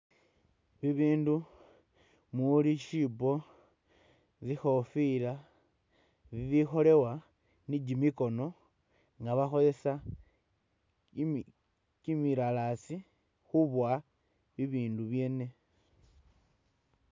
Bibindu mumuuli siibo, zikhofila bibikholebwa ni kimikhono nga bakholesa kimilalazi khubowa bibindu byene.